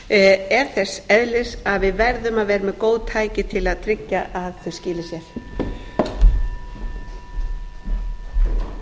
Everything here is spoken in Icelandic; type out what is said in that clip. stofnanirnar er þess eðlis að við verðum að vera með góð tæki til að tryggja að þau skili sér